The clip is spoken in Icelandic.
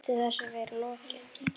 Hvernig gæti þessu verið lokið?